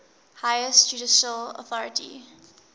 highest judicial authority